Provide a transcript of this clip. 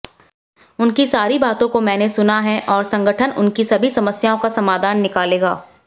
उनकी सारी बातों को मैंने सुना है और संगठन उनकी सभी समस्याओं का समाधान निकालेगा